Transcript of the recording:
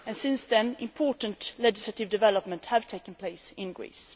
Since then, important legislative developments have taken place in Greece.